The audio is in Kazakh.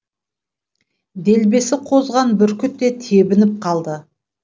делбесі қозған бүркіт те тебініп қалды